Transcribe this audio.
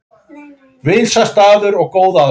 Vinsæll staður og góð aðstaða